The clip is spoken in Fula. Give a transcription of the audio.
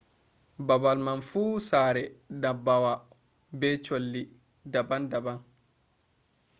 babal man fu sare ndabbawa be cholli daban daban